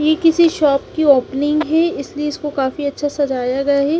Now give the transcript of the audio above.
ये किसी शॉप की ओपनिंग है इसलिए इसको काफी अच्छा सजाया गया है।